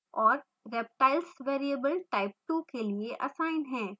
और reptiles variable type2 के लिए असाइन है